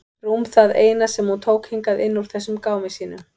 Rúm það eina sem hún tók hingað inn úr þessum gámi sínum.